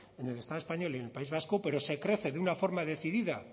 en el estado español y en el país vasco pero se crece de una forma decidida